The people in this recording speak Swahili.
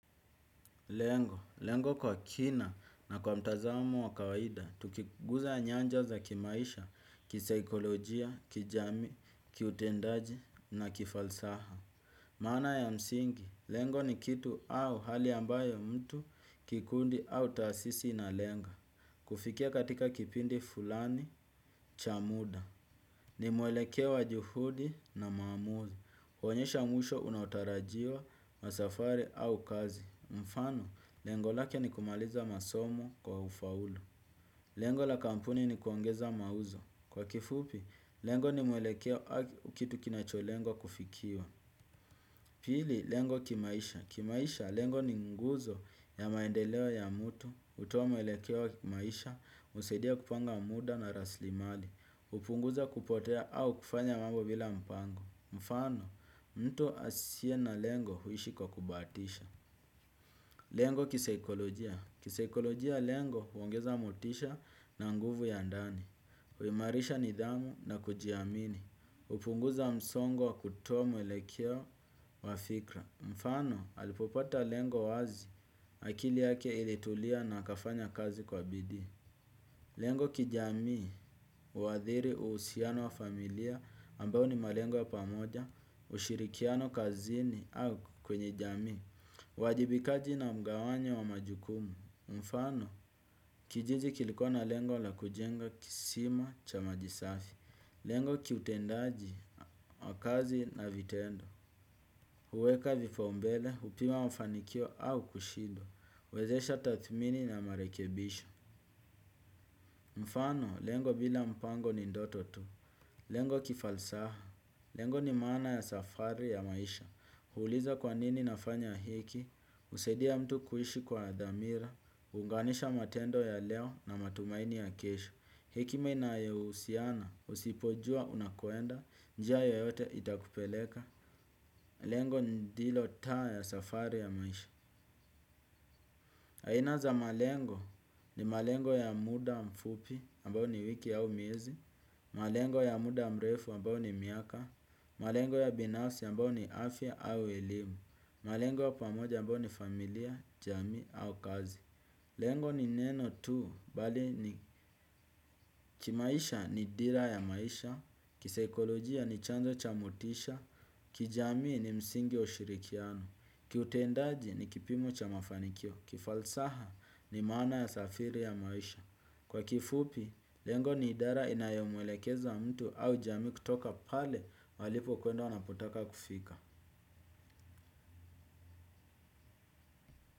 Lengo, lengo kwa kina na kwa mtazamo wa kawaida, tukiguza nyanja za kimaisha, kisaikolojia, kijamii, kiutendaji na kifalsaha. Maana ya msingi, lengo ni kitu au hali ambayo mtu, kikundi au taasisi inalenga. Kufikia katika kipindi fulani, chamuda. Nimwelekei wa juhudi na maamuzi. Huonyesha mwisho unaotarajiwa wa safari au kazi. Mfano, lengo lake ni kumaliza masomo kwa ufaulu. Lengo la kampuni ni kuongeza mauzo. Kwa kifupi, lengo ni muelekeo au kitu kinacholengwa kufikiwa. Pili, lengo kimaisha. Kimaisha, lengo ni nguzo ya maendeleo ya mtu. Hutoa mwelekeo wa kimaisha, husaidia kupanga muda na rasilimali. Hupunguza kupotea au kufanya mambo bila mpango. Mfano, mtu asiye na lengo huishi kwa kubahatisha. Lengo kisaikolojia. Kisaikolojia lengo huongeza motisha na nguvu ya ndani. Huimarisha nidhamu na kujiamini. Hupunguza msongo wa kutoa mwelekeo wa fikra. Mfano, alipopata lengo wazi akili yake ilitulia na akafanya kazi kwa bidii. Lengo kijamii, huathiri uhusiano wa familia ambao ni malengo ya pamoja, ushirikiano kazini au kwenye jamii, uwajibikaji na mgawanyo wa majukumu, mfano kijiji kilikuwa na lengo la kujenga kisima cha maji safi, lengo kiutendaji wa kazi na vitendo, huweka vipambele, hupima mafanikio au kushidwa, huwezesha tathmini na marekebisho. Mfano, lengo bila mpango ni ndoto tu. Lengo kifalsaha. Lengo ni maana ya safari ya maisha. Huuliza kwa nini nafanya hiki. Husaidia mtu kuishi kwa dhamira. Huunganisha matendo ya leo na matumaini ya kesho. Hekima inayohusiana, usipojua unakoenda. Njia yoyote itakupeleka. Lengo ndilo taa ya safari ya maisha. Aina za malengo ni malengo ya muda mfupi ambayo ni wiki au miezi, malengo ya muda mrefu ambayo ni miaka, malengo ya binasi ambayo ni afya au elimu, malengo ya pamoja ambayo ni familia, jamii au kazi. Lengo ni neno tu, bali ni kimaisha ni dira ya maisha, kisaikolojia ni chanzo cha motisha, kijamii ni msingi wa ushirikiano, kiutendaji ni kipimo cha mafanikio, kifalsaha ni maana ya safiri ya maisha. Kwa kifupi, lengo ni idara inayomwelekeza mtu au jamii kutoka pale walipokwenda, wanapotaka kufika.